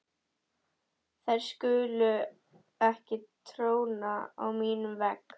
Þær skulu ekki tróna á mínum vegg.